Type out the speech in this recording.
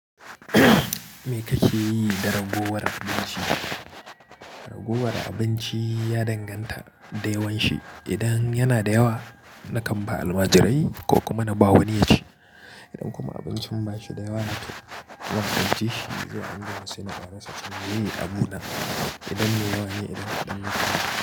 Me kake yi da ragowar abinci? Ragowar abinci ya danganta da yawan shi. Idan yana da yawa, na kamba almajirai ko kuma na bawa wani ya ci. Idan kuma abincin ba shi da yawa, na ƙwanƙwanci shi zuwa unguwar su na ƙarasa tun yayi abuna. Idan me yawane, idan ƙadan ne.